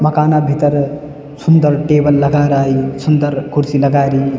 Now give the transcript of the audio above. मकाना भीतर सुन्दर टेबल लगा राई सुन्दर कुर्सी लगा री।